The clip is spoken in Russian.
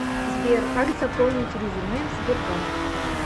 сбер как заполнить резюме в сбербанк